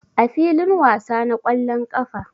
A filin wasa na ƙwallon ƙafa